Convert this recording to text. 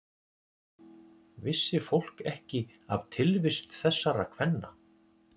Vissi fólk ekki af tilvist þessara kvenna?